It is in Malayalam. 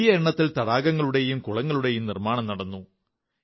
നിരവധി തടാകങ്ങളുടെയും കുളങ്ങളുടെയും നിർമ്മാണം നടന്നു